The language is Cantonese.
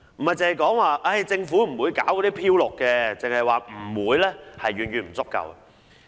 不要只是說政府不會搞"漂綠"，只說不會是遠遠不足夠的。